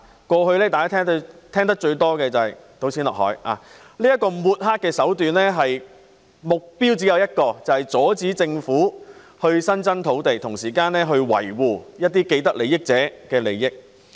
過去，大家聽到最多的說法是"倒錢落海"，這種抹黑手段只有一個目標，便是阻止政府增加土地，同時維護既得利益者的利益。